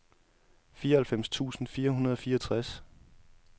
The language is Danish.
fireoghalvfems tusind fire hundrede og fireogtres